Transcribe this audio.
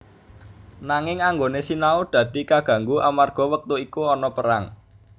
Nanging anggone sinau dadi kaganggu amarga wektu iku ana perang